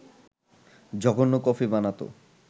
জঘন্য কফি বানাত